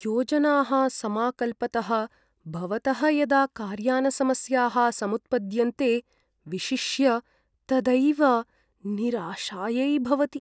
योजनाः समाकल्पतः भवतः यदा कार्यानसमस्याः समुत्पद्यन्ते विशिष्य तदैव निराशायै भवति।